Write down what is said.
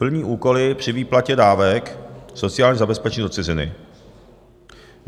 plní úkoly při výplatě dávek sociálního zabezpečení do ciziny,